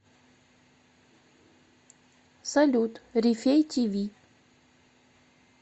салют рифей ти ви